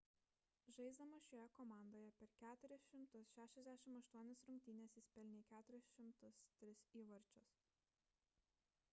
žaisdamas šioje komandoje per 468 rungtynes jis pelnė 403 įvarčius